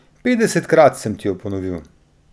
Petdesetkrat sem ti jo ponovil!